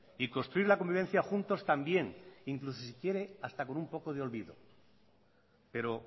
y construir la convivencia juntos también incluso si quiere hasta con un poco de olvido pero